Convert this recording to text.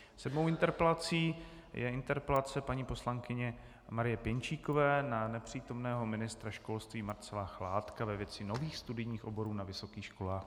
Sedmou interpelací je interpelace paní poslankyně Marie Pěnčíkové na nepřítomného ministra školství Marcela Chládka ve věci nových studijních oborů na vysokých školách.